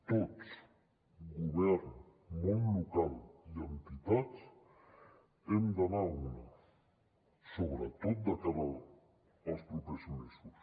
tots govern món local i entitats hem d’anar a una sobretot de cara als propers mesos